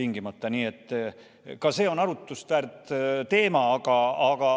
Nii et ka see on arutamist väärt teema.